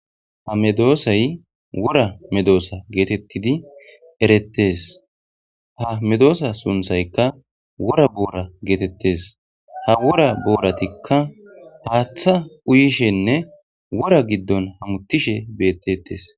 ha medoosay wora medoosa geetettidi erettes ha medoosa sunthaykka wora boora geetettes ha wora booratikka paaththa uyishenne wora giddon hamuttishe bettettes